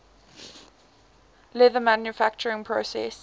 leather manufacturing process